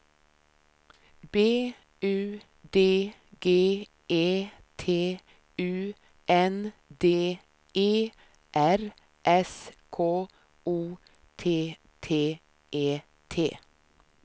B U D G E T U N D E R S K O T T E T